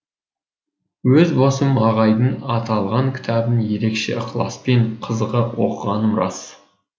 өз басым ағайдың аталған кітабын ерекше ықыласпен қызыға оқығаным рас